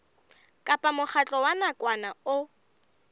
kapa mokgatlo wa nakwana o